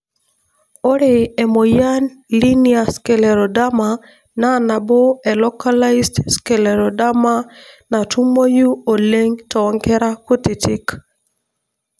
Ore emoyian Linear scleroderma na nabo e localized scleroderma, natumoyu oleng tonkera kutiti.